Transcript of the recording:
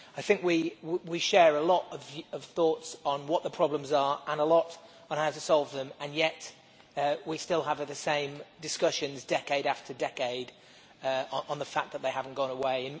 I think we share a lot of thoughts on what the problems are and how to solve them and yet we still have the same discussions, decade after decade, on the fact that they have not gone away.